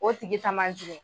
O tigi ta ma jugun.